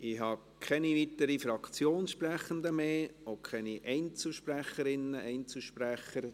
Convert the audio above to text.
Ich habe keine weiteren Fraktionssprechenden mehr auf der Liste, auch keine weiteren Einzelsprecherinnen und Einzelsprecher.